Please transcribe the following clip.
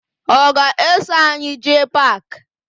Ọ ga-eso anyị jee paakị?